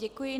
Děkuji.